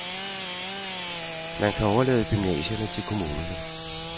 Man kan overlade gymnasierne til kommunerne.